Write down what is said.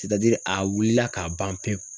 a wulila ka ban pewu.